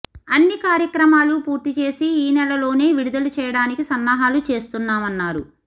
అన్ని కార్యక్రమాలు పూర్తిచేసి ఈనెలలోనే విడుదల చేయడానికి సన్నాహాలు చేస్తున్నామన్నారు